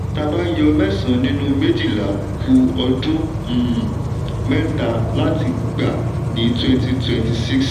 tábà yọ mẹsan nínú méjìlá kú ọdún um mẹta láti gba ní twenty twenty six